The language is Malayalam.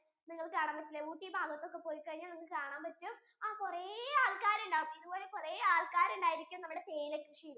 നിങ്ങൾക്കു കാണാൻ പറ്റില്ലേ ഊട്ടി ഭാഗത്തു ഒക്കെ പോയി കഴിഞ്ഞാൽ നിങ്ങൾക്ക് കാണാൻ പറ്റും ആഹ് കുറേ ആൾക്കാരുണ്ട് ഇതുപോലെ കുറേ ആൾക്കാരുണ്ടായിരിക്കും നമ്മുടെ തേ